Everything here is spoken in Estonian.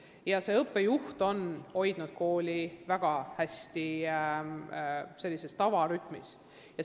Kõnealune õppejuht on kooli tavarütmis väga hästi töös hoidnud.